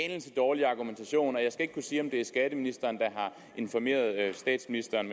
anelse dårlig argumentation jeg skal ikke kunne sige om det er skatteministeren der har informeret statsministeren